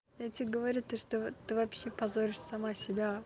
я тебе говорю то что ты вообще позоришь сама себя